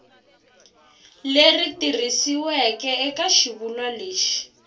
leri tikisiweke eka xivulwa lexi